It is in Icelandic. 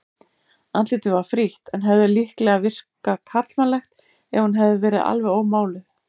Andlitið var frítt en hefði líklega virkað karlmannlegt ef hún hefði verið alveg ómáluð.